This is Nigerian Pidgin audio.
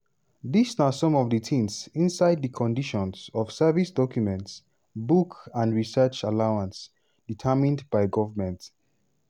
dis na some of di tins inside di conditions of service document - book & research allowance (determined by goment) -